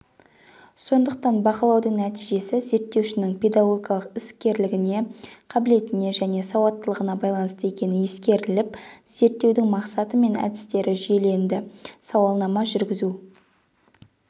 сондықтан бақылаудың нәтижесі зерттеушінің педагогикалық іс керлігіне қабілетіне және сауаттылығына байланысты екені ескеріліп зерттеудің мақсаты мен әдістері жүйеленді сауалнама жүргізу